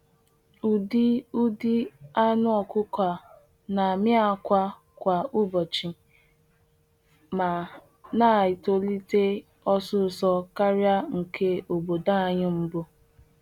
Ụdị Ụdị anụ ọkụkọ a na-amị akwa kwa ụbọchị ma na-etolite osisor karịa nke obodo anyị mbụ.